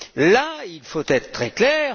Là, il faut être très clair.